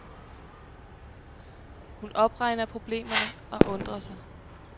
Hun opregner problemerne og undrer sig.